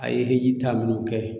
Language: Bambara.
A ye hejitaa minnu kɛ